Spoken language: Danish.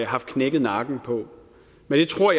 har knækket nakken på men jeg tror